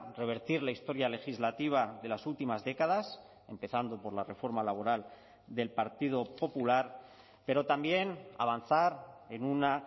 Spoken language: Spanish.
revertir la historia legislativa de las últimas décadas empezando por la reforma laboral del partido popular pero también avanzar en una